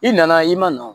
I nana i ma na